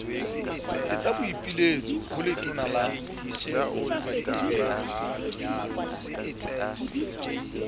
etsa boipiletso ho letona la